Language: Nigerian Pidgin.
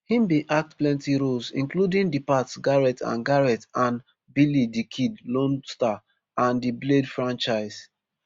im bin act plenti roles including di pat garrett and garrett and billy di kid lone star and di blade franchise